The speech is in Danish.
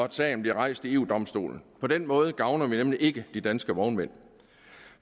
at sagen bliver rejst ved eu domstolen på den måde gavner vi nemlig ikke de danske vognmænd